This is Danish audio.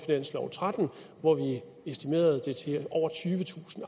tretten hvor vi estimerede det til at over tyvetusind